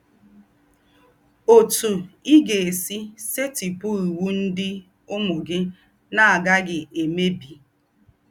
“Òtú Í Gà-èsí Sètípù Íwú Ndí́ Úmù Gí Nà-àgàghí Èmèbí”